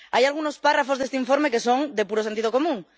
Hay algunos párrafos de este informe que son de puro sentido común.